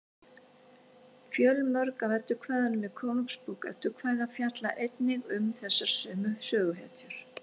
fjölmörg af eddukvæðunum í konungsbók eddukvæða fjalla einnig um þessar sömu söguhetjur